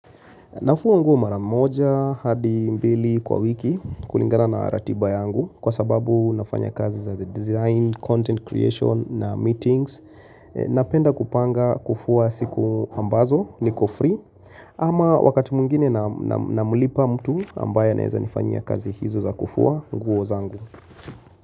Nafuwa nguo mara moja hadi mbili kwa wiki kulingana na ratiba yangu kwa sababu nafanya kazi za design, content creation na meetings Napenda kupanga kufua siku ambazo niko free ama wakati mwingine namulipa mtu ambaye anaeza nifanyia kazi hizo za kufua nguo zangu.